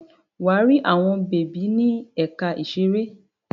Wà á rí àwọn bèbí ní ẹ̀ka ìṣeré.